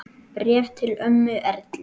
Bréf til ömmu Erlu.